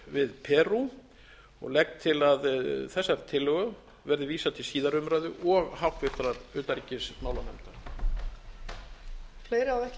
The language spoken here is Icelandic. við perú og legg til að þessari tillögu verði vísað til síðari umræðu og háttvirtrar utanríkismálanefndar